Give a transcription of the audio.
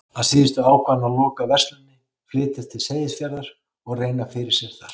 Að síðustu ákvað hann að loka versluninni, flytjast til Seyðisfjarðar og reyna fyrir sér þar.